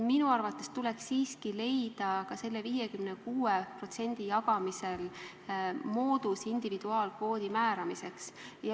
Minu arvates tuleks leida ka selle 56% jagamisel moodus individuaalkvoodi määramiseks.